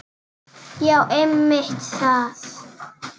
Já einmitt það.